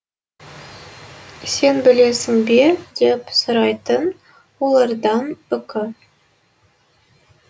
сен білесің бе деп сұрайтын олардан үкі